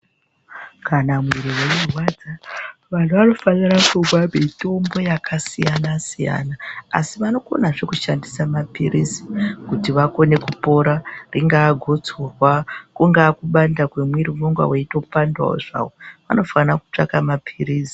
Kana muwiri we munhu wei rwadza vanhu vano fanira kumwa mutombo yaka siyana siyana asi vanokona zve kushandisa mapilizi kuti vakone kupora ringa gotsorwa kunga kubanda kwe mwiri unonga weito pandawo zvawo anofana kutsvaka mapirizi.